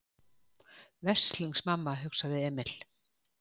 Veslings mamma, hugsaði Emil.